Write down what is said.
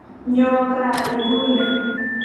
Nyo kaa inguni !